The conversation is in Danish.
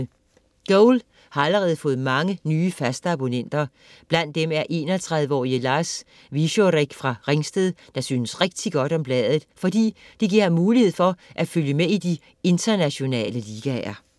Goal har allerede fået mange nye faste abonnenter. Blandt dem er 31-årige Lars Wieczorek fra Ringsted, der synes rigtig godt om bladet, fordi det giver ham mulighed for at følge med i de internationale ligaer.